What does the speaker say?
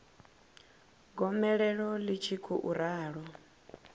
gomelelo ḽi tshi khou ralo